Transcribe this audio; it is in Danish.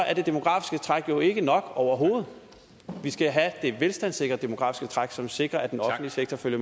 er det demografiske træk jo ikke nok overhovedet vi skal have det velstandssikrede demografiske træk som sikrer at den offentlige sektor følger